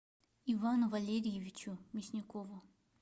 ивану валериевичу мясникову